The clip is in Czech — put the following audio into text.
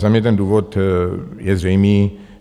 Za mě ten důvod je zřejmý.